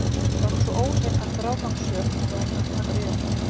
Var hún svo óhrein að frágangssök var að taka við henni.